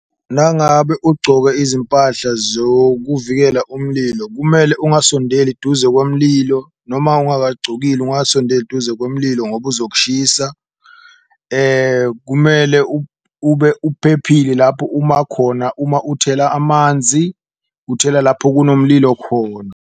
Nangabe ugcoke izimpahla zokuvikela umlilo kumele ukungasondeli duze kunomlilo noma ungakagcokile ungasondeli eduze komlilo ngoba uzokushisa. Kumele kube uphephile lapho uma khona uma uthela amanzi, uthela lapho kunomlilo khona.